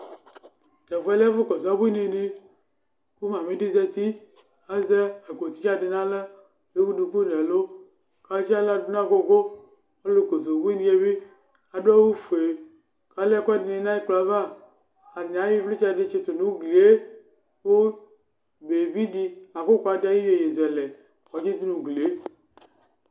Tʋ ɛfʋɛ lɛ ɛfʋ ƙɔsʋ ubuini nɩ,ƙʋ mamɩ ɖɩ zati ,azɛ aƙpo tɩnya ɖɩ n' aɣla, t'ewu ɖuku nʋ ɛlʋ, ƙʋ atsɩ aɣla n'agʋgʋƆlʋ ƙɔsʋ ubuinie bɩ ta ɖʋ awʋ fue